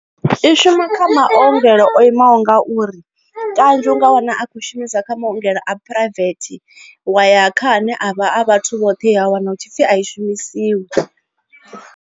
I shuma kha maongelo o imaho ngauri kanzhi u nga wana a khou shumisa kha maongelo a private wa ya kha ane a vha a vhathu vhoṱhe ya wana hu tshipfi a i shumisiwi.